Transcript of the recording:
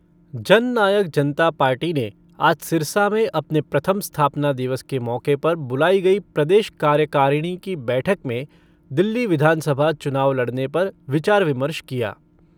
जन नायक जनता पार्टी ने आज सिरसा में अपने प्रथम स्थापना दिवस के मौके पर बुलाई गई प्रदेश कार्यकारिणी की बैठक में दिल्ली विधानसभा चुनाव लड़ने पर विचार विमर्श किया।